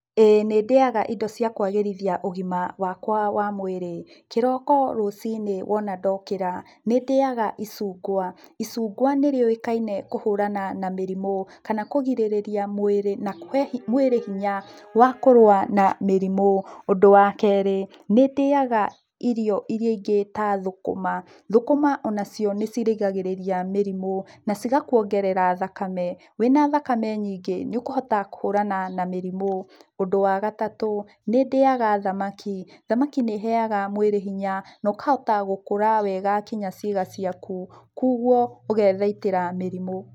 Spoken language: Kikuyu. Ĩĩ nĩndĩaga indo cia kwagĩrithia ũgima wakwa wa mwĩrĩ, kĩroko rũcinĩ wona ndokĩra nĩndĩaga icungwa. Icungwa nĩ rĩũĩkaine na kũhũrana na mĩrimũ kana kũrigĩrĩria mwĩrĩ na kũhe mwĩrĩ hinya wa kũrũa na mĩrĩmu. Ũndũ wa kerĩ, nĩ ndĩaga irio iria ingĩ ta thũkũma, thũkũma onacio nĩ cirigagĩrĩria mĩrimũ na cigakuongerera thakame, wĩna thakame nyingĩ nĩ ũkũhota kũhũrana na mĩrimũ. Ũndũ wa gatatũ, nĩndĩaga thamaki, thamaki nĩ ĩheaga mwĩrĩ hinya na ũkahota gũkũra wega kinyagia ciĩga ciaku, kugwo ũgethaitĩra mĩrimũ.